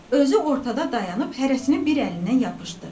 Özü ortada dayanıb hərəsini bir əlindən yapışdı.